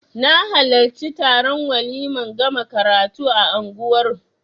Na halarci taron waliman gama karatu a unguwar